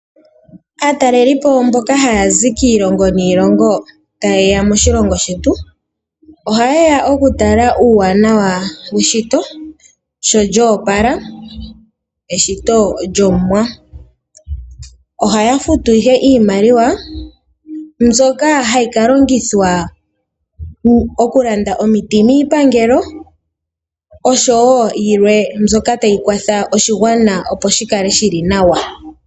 Aatalelipo mboka haya zi kiilongo niilongo taye ya moshilongo shetu, ohaye ya oku tala uuwanawa weshito sho lyoopala. Eshito lyOmuwa. Ohaya futu ihe iimaliwa mbyoka hayi ka longithwa okulanda omiti miipangelo oshowo yilwe mbyoka tayi kwatha oshigwana opo shi kale shi li nawa.